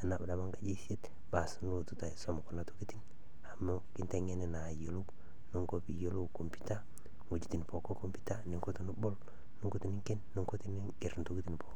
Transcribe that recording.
tanaa abaki nkaji e isiet baas nolotu taa aisom kuna tokitin amu kiteng'eni naa ayuolou Niko piiyuolou computer, ng'ojitin pookin e computer ninko tunubol, ninko tininken Niko tiningerr ntokitin pookin.